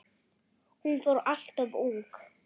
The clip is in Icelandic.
Hún fór alltof ung.